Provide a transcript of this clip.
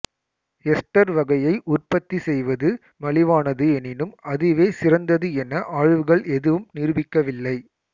ester வகையை உற்பத்தி செய்வது மலிவானது எனினும் அதுவே சிறந்தது என ஆய்வுகள் எதுவும் நிரூபிக்கவில்லை